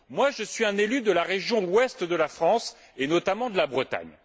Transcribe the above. Je suis un élu de la région Ouest de la France, et notamment de la Bretagne.